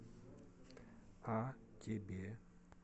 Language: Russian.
а тебе